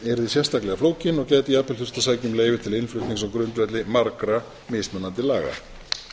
yrði sérstaklega flókin og gæti jafnvel þurft að sækja um leyfi til innflutnings á grundvelli margra mismunandi laga